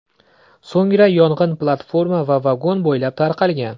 So‘ngra yong‘in platforma va vagon bo‘ylab tarqalgan.